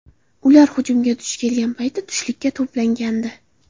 Ular hujumga duch kelgan payt tushlikka to‘plangandi.